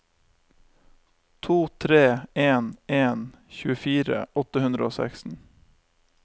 to tre en en tjuefire åtte hundre og seksten